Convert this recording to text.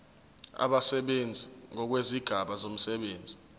abasebenzi ngokwezigaba zomsebenzi